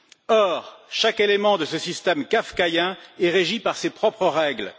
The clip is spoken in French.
Or, chaque élément de ce système kafkaïen est régi par ses propres règles.